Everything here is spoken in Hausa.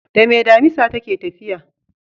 Dame damisa take tafiya?